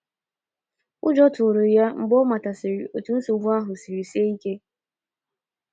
ụjọ tụrụ ya mgbe ọ matasịrị otu nsogbu ahụ ike ya siri sie ike.